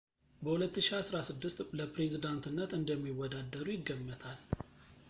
በ 2016 ለፕሬዚዳንትነት እንደሚወዳደሩ ይገመታል